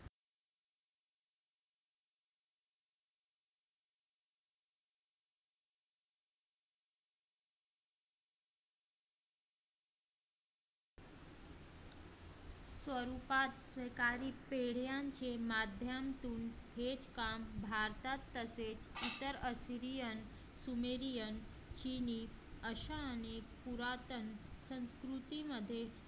स्वरूपात सरकारी पेढ्यांचे माध्यम मधून हे काम भारतात तसे येथे इतर असेन sumerian चिनी अशा अनेक पुरातन संस्कृतीमध्ये